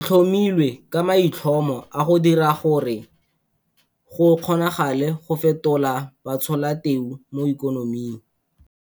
Le tlhomilwe ka maitlhomo a go dira gore go kgonagale go fetola batsholateu mo ikonoming.